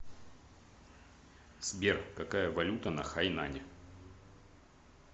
сбер какая валюта на хайнане